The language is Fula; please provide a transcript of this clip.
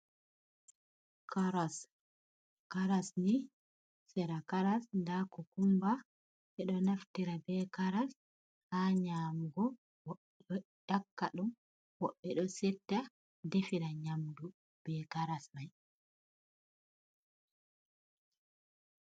Karas, karas ni, sera karas ndaa kukumba ɓe ɗo naftira bee karas ha nyaamugo bo ɓe ɗo nyakka ɗum. Bo ɓe ɗo setta defira nyamdu bee karas mai.